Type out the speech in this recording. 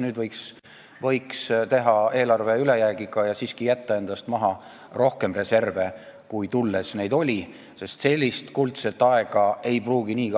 Nüüd võiks teha ülejäägiga eelarve ja siiski jätta endast maha rohkem reserve, kui neid oli siis, kui võimule tuldi, sest sellist kuldset aega ei pruugi